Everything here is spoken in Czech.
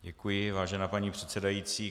Děkuji, vážená paní předsedající.